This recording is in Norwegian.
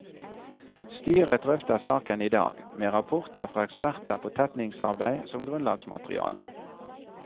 Styret drøfter saken i dag, med rapporter fra eksperter på tetningsarbeid som grunnlagsmateriale.